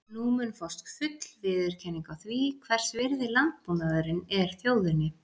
Nú mun fást full viðurkenning á því, hvers virði landbúnaðurinn er þjóðinni.